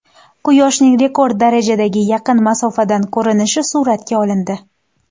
Quyoshning rekord darajadagi yaqin masofadan ko‘rinishi suratga olindi.